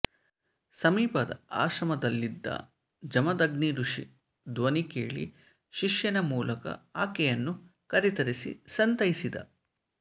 ಸಮೀಪದ ಆಶ್ರಮದಲ್ಲಿದ್ದ ಜಮದಗ್ನಿಋಷಿ ಧ್ವನಿ ಕೇಳಿ ಶಿಷ್ಯನ ಮೂಲಕ ಆಕೆಯನ್ನು ಕರೆತರಿಸಿ ಸಂತೈಸಿದ